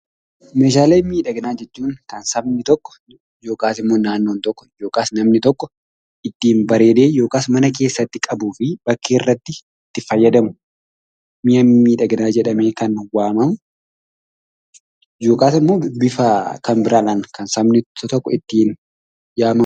Meeshaalee miidhaginaa jechuun kan sabni tokko yokaas immoo naannoon tokko yokaas namni tokko ittiin bareedee yokaas mana keessatti qabuufi bakkeerratti ittiin fayyadamu mi'a miidhaginaa jedhamee kan waamamu yokaas immoo bifaa kan biraadhaan kan sabni tokko ittiin yaamamu.